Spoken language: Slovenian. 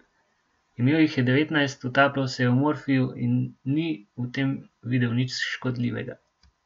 Imel jih je devetnajst, utapljal se je v morfiju in ni v tem videl nič škodljivega.